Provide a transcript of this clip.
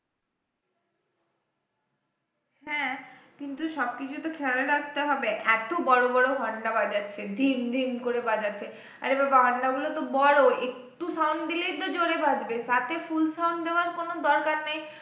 হ্যাঁ কিন্তু সবকিছু তো খেয়াল রাখতে হবে এত বড় বড় ঘন্টা বাজাচ্ছে ঝিনঝিন করে বাজাচ্ছে আরে বাবাঃ ঘন্টাগুলো তো বড় একটু sound দিলেই তো জোরে বাজবে তাতে full sound দেওয়ার কোন দরকার নেই